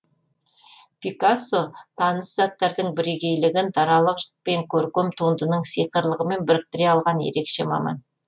пикассо таныс заттардың бірегейлігін даралық пен көркем туындының сиқырлығымен біріктіре алған ерекше маман